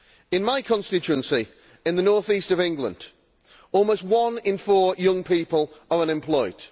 In my constituency of the North East of England, almost one in four young people are unemployed.